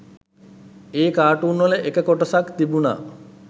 ඒ කාටුන්වල එක කොටසක් තිබුන